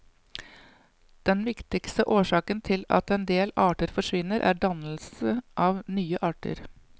Den viktigste årsaken til at en del arter forsvinner, er dannelse av nye arter.